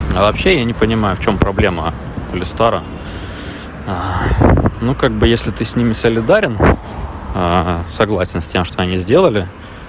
а вообще я не понимаю в чём проблема или старом ну как бы если ты с ними солидарен согласен с тем что они сделали